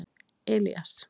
Elías